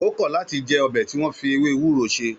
Ó kọ̀ láti jẹ ọbẹ̀ tí wọn fi ewé ewúro ṣe